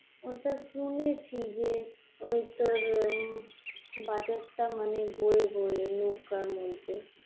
ওটা শুনেছি যে ওই তোর উম বাজারটা মানে বয়ে বয়ে নৌকার মধ্যে